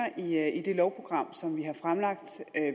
i det lovprogram som vi har fremlagt